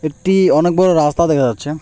একটি অনেক বড় রাস্তা দেখা যাচ্ছে।